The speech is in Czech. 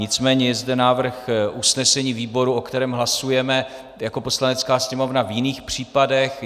Nicméně je zde návrh usnesení výboru, o kterém hlasujeme jako Poslanecká sněmovna v jiných případech.